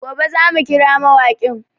Gobe za mu kira mawaƙin